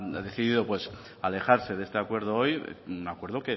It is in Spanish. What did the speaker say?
ha decidido pues alejarse de este acuerdo hoy un acuerdo